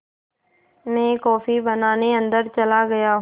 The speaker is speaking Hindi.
मैं कॉफ़ी बनाने अन्दर चला गया